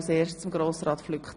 Das Wort hat Grossrat Flück.